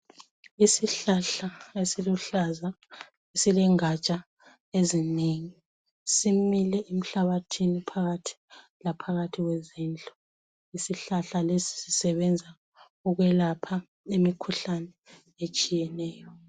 Isihlahla esiluhlaza silengatsha ezinengi , simile emhlabathini phakathi laphakathi kwezindlu , isihlahla lesi sisebenza ukwelapha imikhuhlane etshiyeneyo